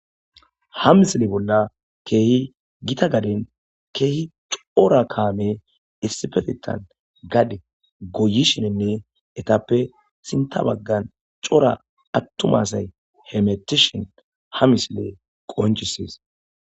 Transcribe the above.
Ha misile bolla keehi gita gaden keehi cora kaame issifetetan gade goyi shinenne etappe sinta baggan cora attumasay hemetishin ha misile qoncisies